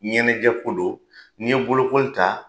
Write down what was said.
Ɲɛnajɛ ko don n'i ye bolokoi ta